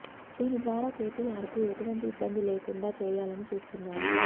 దీని ద్వారా కేటీఆర్ కు ఎటువంటి ఇబ్బంది లేకుండా చేయాలని చూస్తున్నారు